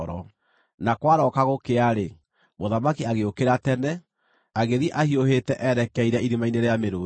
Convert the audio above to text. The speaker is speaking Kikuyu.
Na kwarooka gũkĩa-rĩ, mũthamaki agĩũkĩra tene, agĩthiĩ ahiũhĩte erekeire irima-inĩ rĩa mĩrũũthi.